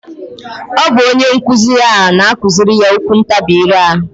Ọ bụ onyenkuzi ya na-akụzirị ya okwuntabi ire a